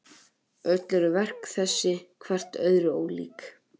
Öll eru verk þessi hvert öðru ólík.